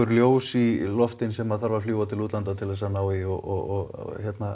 ljós í loftin sem þarf að fljúga til útlanda til þess að ná í og